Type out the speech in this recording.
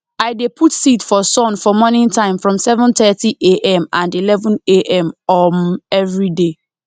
i dey put seed for sun for morning time from seven thirty am and eleven am um everyday